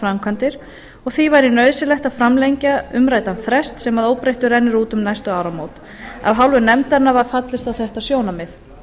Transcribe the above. framkvæmdir og því væri nauðsynlegt að framlengja umræddan frest sem að óbreyttu rennur út um næstu áramót af hálfu nefndarinnar var fallist á þetta sjónarmið